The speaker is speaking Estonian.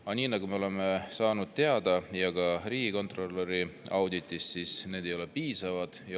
Aga nagu me oleme teada saanud ka riigikontrolöri auditist, need ei ole olnud piisavad.